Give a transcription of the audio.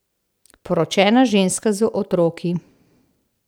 Poročena ženska z otroki.